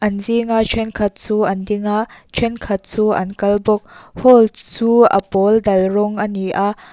an zing a thenkhat chu an ding a thenkhat chu an kal bawk hall chu a pawl dal rawng ani a.